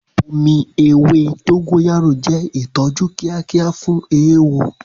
Omi ewé dogoyaro jẹ́ ìtọ́jú kíákíá fún eéwo.